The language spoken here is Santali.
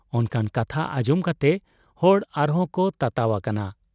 ᱚᱱᱠᱟᱱ ᱠᱟᱛᱷᱟ ᱟᱸᱡᱚᱢ ᱠᱟᱛᱮ ᱦᱚᱲ ᱟᱨᱦᱚᱸᱠᱚ ᱛᱟᱛᱟᱣ ᱟᱠᱟᱱᱟ ᱾